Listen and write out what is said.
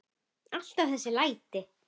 Alltaf þessi læti.